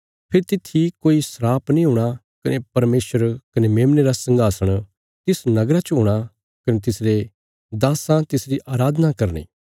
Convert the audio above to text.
फेरी तित्थी कोई श्राप नीं हूणा कने परमेशर कने मेमने रा संघासण तिस नगरा च हूणा कने तिसरे दास्सां तिसरी अराधना करनी